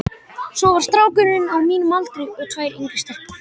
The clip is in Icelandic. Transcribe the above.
Svo var strákur á mínum aldri og tvær yngri stelpur.